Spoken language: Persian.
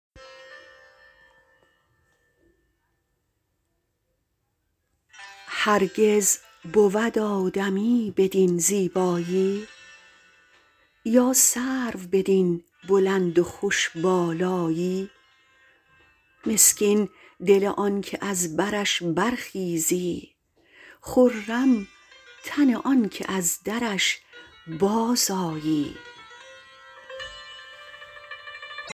هرگز بود آدمی بدین زیبایی یا سرو بدین بلند و خوش بالایی مسکین دل آنکه از برش برخیزی خرم تن آنکه از درش بازآیی